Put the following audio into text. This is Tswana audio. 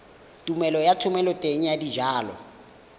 tumelelo ya thomeloteng ya dijalo